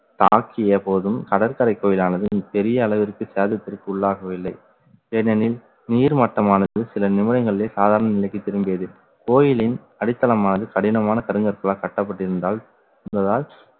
தாக்கிய போதும் கடற்கரை கோயிலானது பெரிய அளவிற்கு சேதத்திற்கு உள்ளாகவில்லை. ஏனெனில் நீர்மட்டமானது சில நிமிடங்களிலே சாதாரண நிலைக்கு திரும்பியது கோயிலின் அடித்தளமானது கடினமான கருங்கற்களால் கட்டப்பட்டிருந்தால்